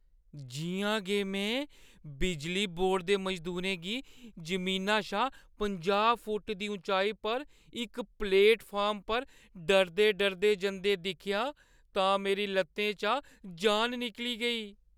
जि'यां गै में बिजली बोर्ड दे मजदूरें गी जमीना शा पंजाह् फुट्ट दी उचाई पर इक प्लेटफार्म पर डरदे-डरदे जंदे दिक्खेआ तां मेरी लत्तें चा जान निकली गेई।